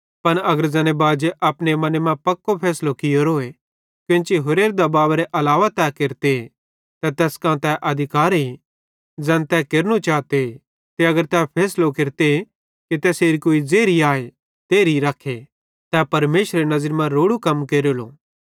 पन अगर ज़ैने बाजी अपने मने मां पक्को फैसलो कियोरोए कोन्ची होरेरे दबावेरे अलावा तै केरते त तैस कां तै अधिकारे ज़ैन तै केरनू चाते ते अगर तै फैसलो केरते कि तैसेरी कुई ज़ेरी आए तेरही रखे तै परमेशरेरी नज़री मां रोड़ू कम केरेलो